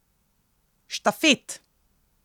Štafet!